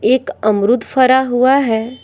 एक अमरूद फरा हुआ है।